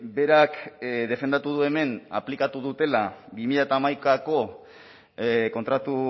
berak defendatu du hemen aplikatu dutela bi mila hamaikako kontratu